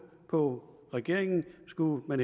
på regeringen skulle